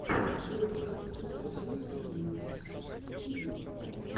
ютуб покажи той март ти ви